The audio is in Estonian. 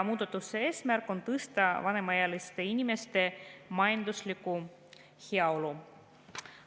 Muudatuste eesmärk on tõsta vanemaealiste inimeste majanduslikku heaolu.